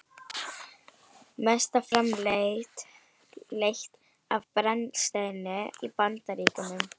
Mest er framleitt af brennisteini í Bandaríkjunum